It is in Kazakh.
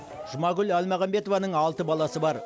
жұмагүл әлмағанбетованың алты баласы бар